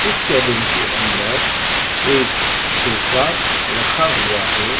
इस केबिन के अंदर एक सोफा रखा हुआ है।